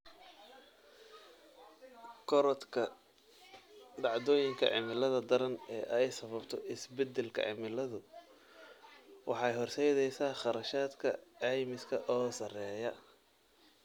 Korodhka dhacdooyinka cimilada daran ee ay sababto isbeddelka cimiladu waxay horseedaysaa kharashaadka caymiska oo sarreeya.